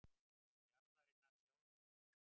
og jarðarinnar sjálfrar.